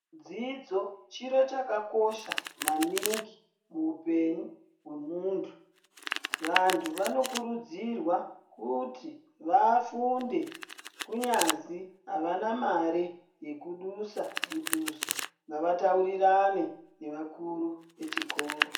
Dzidzo chiro chakakosha maningi muupenyu hwe muntu vantu vanokurudzirwa kuti vafunde kunyazi havana mare yekudusa muduso ngavataurirane nevakuru vechikora.